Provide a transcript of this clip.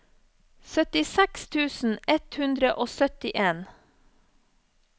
syttiseks tusen ett hundre og syttien